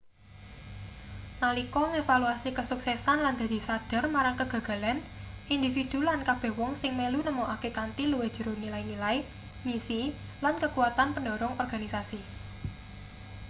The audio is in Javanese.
nalika ngevaluasi kesuksesan lan dadi sadhar marang kegagalan individu lan kabeh wong sing melu nemokake kanthi luwih jero nilai-nilai misi lan kekuatan pendhorong organisasi